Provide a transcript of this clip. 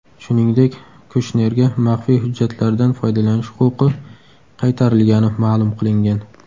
Shuningdek, Kushnerga maxfiy hujjatlardan foydalanish huquqi qaytarilgani ma’lum qilingan.